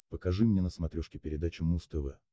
покажи мне на смотрешке передачу муз тв